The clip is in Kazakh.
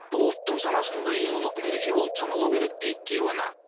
бұл ұлттың санасында ең ұлық мереке болып саналуы керек дейді кейуана